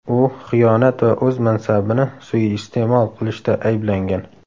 U xiyonat va o‘z mansabini suiiste’mol qilishda ayblangan.